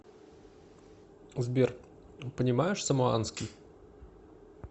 сбер понимаешь самоанский